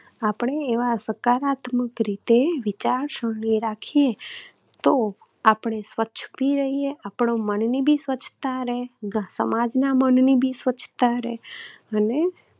આપણે એવા સકારાત્મક રીતે વિચારસરણી રાખીએ તો આપણે સ્વચ્છ પણ રહીએ, આપણા મનની પણ સ્વચ્છતા રહે, સમાજના મનનની પણ સ્વચ્છતા રહે અને